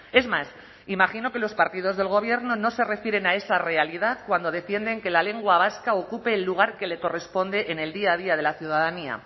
es más imagino que los partidos del gobierno no se refieren a esa realidad cuando defienden que la lengua vasca ocupe el lugar que le corresponde en el día a día de la ciudadanía